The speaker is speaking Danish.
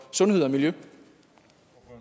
og